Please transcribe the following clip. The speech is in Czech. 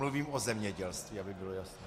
Mluvím o zemědělství, aby bylo jasno.